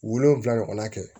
Wolonfila ɲɔgɔnna kɛ